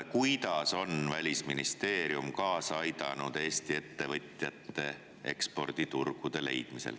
Kuidas on Välisministeerium kaasa aidanud, et Eesti ettevõtjatele eksporditurge leida?